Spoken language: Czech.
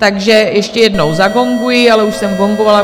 Takže ještě jednou zagonguji, ale už jsem gongovala.